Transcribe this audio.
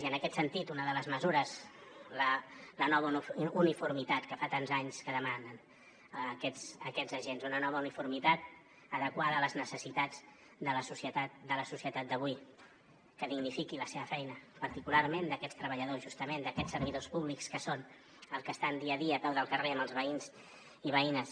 i en aquest sentit una de les mesures la nova uniformitat que fa tants anys que demanen aquests agents una nova uniformitat adequada a les necessitats de la societat d’avui que dignifiqui la seva feina particularment d’aquests treballadors justament d’aquests servidors públics que són els que estan dia a dia a peu del carrer amb els veïns i veïnes